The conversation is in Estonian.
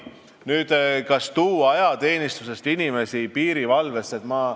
Kas tuua ajateenistusest inimesi piirivalvesse?